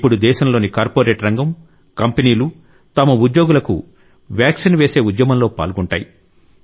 ఇప్పుడు దేశంలోని కార్పొరేట్ రంగం కంపెనీలు తమ ఉద్యోగులకు వ్యాక్సిన్ వేసే ఉద్యమంలో పాల్గొంటాయి